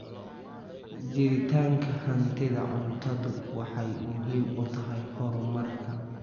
Jiritaanka hantida cuntadu waxay muhiim u tahay horumarka.